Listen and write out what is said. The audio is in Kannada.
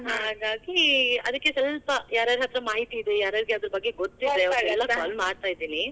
ಹಾಗಾಗಿ ಅದ್ಕೆ ಸ್ವಲ್ಪ ಯಾರ್ಯಾರ ಹತ್ರ ಮಾಹಿತಿ ಇದೆ, ಯಾರ್ಯಾರಿಗೆ ಅದರ ಬಗ್ಗೆ ಮಾಹಿತಿ ಇದೆ ಗೊತ್ತಿದೆ. ಅವರಿಗೆಲ್ಲಾ call ಮಾಡ್ತಾ ಇದೀನಿ.